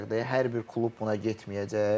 Hər bir klub buna getməyəcək.